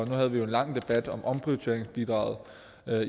havde vi jo en lang debat om omprioriteringsbidraget